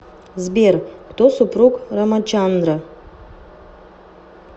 сбер кто супруг рамачандра